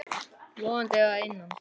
Logandi að innan.